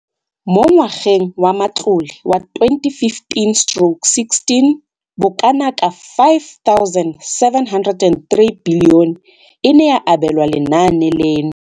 Mo ngwageng wa matlole wa 2015 stroke 16, bokanaka 5 703 bilione e ne ya abelwa lenaane leno.